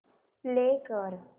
play कर